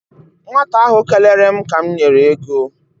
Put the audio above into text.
Nwata ahụ kelere m ka m nyere ego.